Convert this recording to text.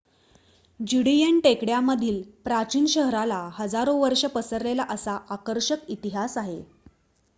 Judean टेकड्या मधील प्राचीन शहराला हजारो वर्ष पसरलेला असा आकर्षक इतिहास आहे